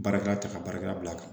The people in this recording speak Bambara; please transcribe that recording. Baarakɛla ta ka baarakɛla bila a kan